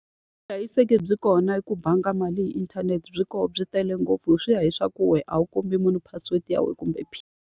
Vuhlayiseki byi kona hi ku banga mali hi inthanete, byi kona byi tele ngopfu. Swi ya hi swa ku wena a wu kombi munhu password ya wena kumbe .